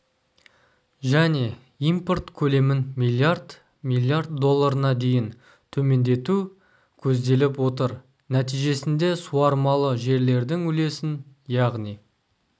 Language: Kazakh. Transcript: және импорт көлемін миллиард миллиард долларына дейін төмендету көзделіп отыр нәтижесінде суармалы жерлердің үлесін яғни